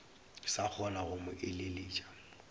sa kgona go mo eleletša